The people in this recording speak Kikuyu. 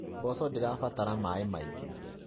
Mboco ndĩra batara maaĩ maingĩ.